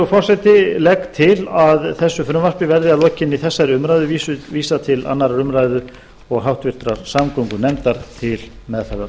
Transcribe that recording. til virðulegi forseti að þessu frumvarpi verði að lokinni þessari umræðu vísað til annarrar umræðu og háttvirtrar samgöngunefndar til meðferðar